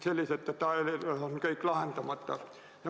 Sellised detailid on kõik lahendamata.